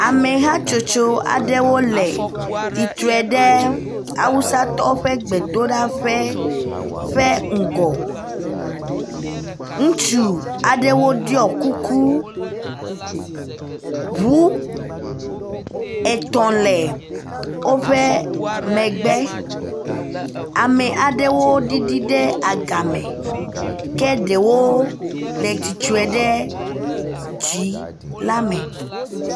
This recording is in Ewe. Amehatsotso aɖewo le tsitre ɖe awusatɔwo ƒe gbedoɖaƒe ƒe ŋgɔ. Ŋutsu aɖewo ɖɔ kuku. Ŋu etɔ̃ le woƒe megbe. Ame aɖewo ɖiɖi ɖe agame ke ɖewo le tsitre ɖe dzi la me.